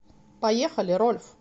поехали рольф